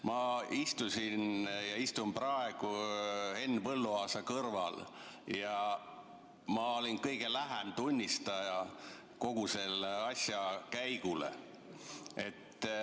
Ma istusin ja istun praegu Henn Põlluaasa kõrval ja olin kõige lähem tunnistaja kogu selle asja käigule.